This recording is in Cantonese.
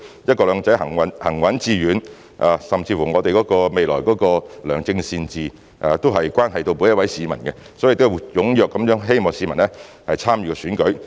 "一國兩制"能否行穩致遠，甚至是我們未來能否達致良政善治，都關係到每一位市民，因此希望市民踴躍參與選舉。